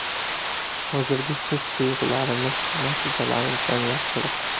Hozirgi his-tuyg‘ularimiz, natijalarimizdan yaxshiroq.